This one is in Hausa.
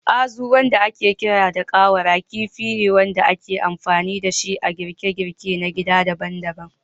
Azu, wanda aka fi sani da ƙawara, kifi ne iri-iri da ake amfani da shi a girke-girke na gida daban-daban